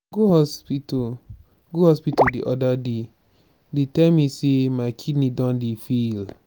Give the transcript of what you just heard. i go hospital go hospital the other day dey tell me say my kidney don dey fail.